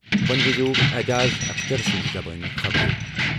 وۄنۍ بوزِو اعجاز اختر سٕنٛز خبر۔